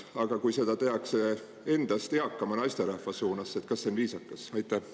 Aga kui seda tehakse endast eakama naisterahva suunas, siis kas see on viisakas?